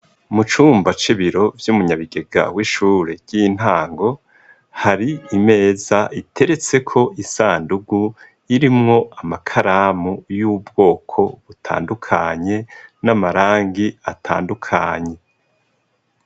Mu cumba c'ibiro vy'umunyabigega w'ishure ry'intango hari imeza iteretse ko isandugu irimwo amakaramu y'ubwoko butandukanye n'amarangi atandukanye.